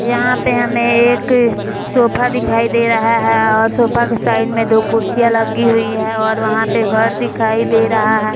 यहाँ पे हमे एक सोफा दिखाई दे रहा है और सोफा के साइड में दो कुर्सियाँ लगी हुई है और वहाँ पे घर दिखाई दे रहा है ।